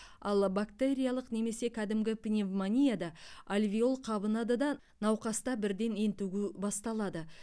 ал бактериялық немесе кәдімгі пневмонияда альвеол қабынады да науқаста бірден ентігу басталады